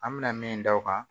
An bɛna min da o kan